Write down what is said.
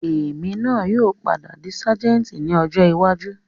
Èmi náà yìí ó padà di sajẹ́ẹ́ntì ni ọjọ́ iwájú